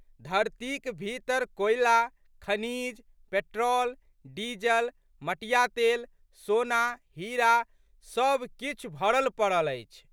धरतीक भीतर कोयला, खनिज, पेट्रोल, डीजल, मटिया तेल सोना, हीरा सब किछु भरलपड़ल अछि।